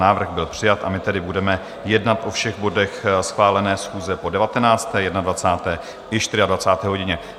Návrh byl přijat, a my tedy budeme jednat o všech bodech schválené schůze po 19., 21., i 24. hodině.